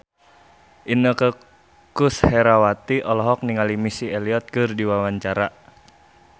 Inneke Koesherawati olohok ningali Missy Elliott keur diwawancara